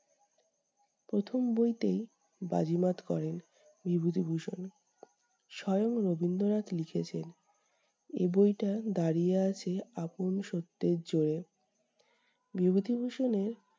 প্রথম বইতেই বাজিমাত করেন বিভূতিভূষণ। স্বয়ং রবীন্দ্রনাথ লিখেছেন- এই বইটা দাঁড়িয়ে আছে আপন সত্যের জোরে। বিভূতিভূষণ এর